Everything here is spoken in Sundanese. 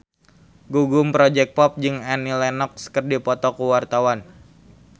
Gugum Project Pop jeung Annie Lenox keur dipoto ku wartawan